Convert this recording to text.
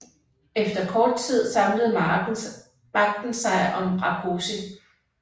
Efter kort tid samlede magten sig om Rákosi